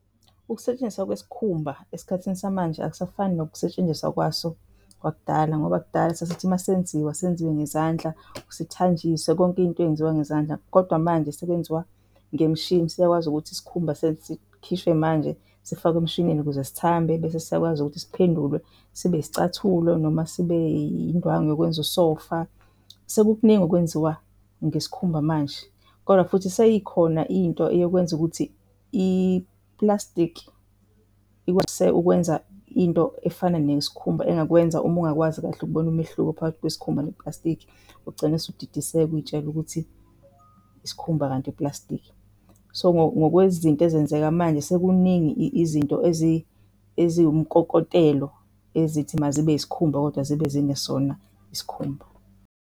Ukusetshenziswa kwesikhumba esikhathini samanje akusafani nokusetshenziswa kwaso kwakudala ngoba kudala sasithi masenziwa senziwe ngezandla, sithanjiswe konke into eyenziwa ngezandla kodwa manje sekwenziwa ngemishini. Siyakwazi ukuthi isikhumba sikhishwe manje sifakwe emshinini ukuze sithambe bese siyakwazi ukuthi siphendulwe sibe yisicathulo noma sibe yindwangu yokwenza usofa. Sekukuningi okwenziwa ngesikhumba manje kodwa futhi seyikhona into eyokwenza ukuthi iplastiki ukwenza into efana neyesikhumba engakwenza uma ungakwazi kahle ukubona umehluko phakathi kwesikhumba noplastiki, ugcine usudidiseka uy'tshele ukuthi isikhumba kanti uplastiki. So, ngokwezinto ezenzeka manje sekuningi izinto eziwumkokotelo ezithi mazibe yisikhumba kodwa zibe zingezona isikhumba.